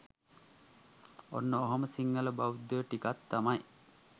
ඔන්න ඔහොම සිංහල බෞද්ධයෝ ටිකක් තමයි